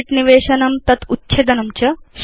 sheets इत्येषां निवेशनम् उच्छेदनं च